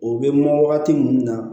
O bɛ mɛn wagati mun na